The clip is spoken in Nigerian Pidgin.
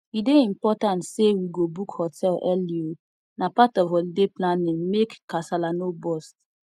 e dey important say we go book hotel early oo na part of holiday planning make kasala no burst